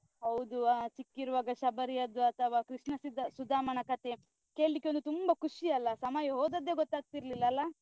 ಹೌದು ಅಹ್ ಚಿಕ್ಕಿರುವಾಗ ಶಬರಿ ಅದ್ದು, ಅಥವಾ ಕೃಷ್ಣ ಸುದ~ ಸುಧಾಮನ ಕಥೆ ಕೇಳ್ಲಿಕ್ಕೆ ಅದು ತುಂಬ ಖುಷಿ ಅಲ ಸಮಯ ಹೋದದ್ದೇ ಗೊತ್ತಾಗ್ತಿರ್ಲಿಲ್ಲ ಅಲಾ?